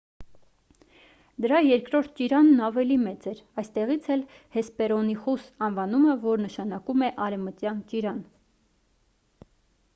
դրա երկրորդ ճիրանն ավելի մեծ էր այստեղից էլ հեսպերոնիխուս անվանումը որ նշանակում է արևմտյան ճիրան